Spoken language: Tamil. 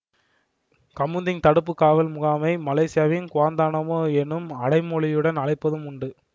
கமுந்திங் தடுப்பு காவல் முகாமை மலேசியாவின் குவாந்தானாமோ எனும் அடைமொழியுடன் அழைப்பதும் உண்டு